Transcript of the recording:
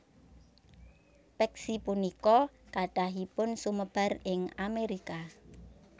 Peksi punika kathahipun sumebar ing Amerika